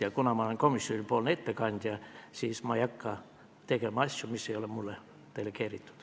Ja kuna ma olen komisjoni ettekandja, siis ma ei hakka tegema asju, mis ei ole mulle delegeeritud.